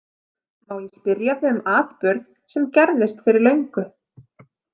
Má ég spyrja þig um atburð sem gerðist fyrir löngu?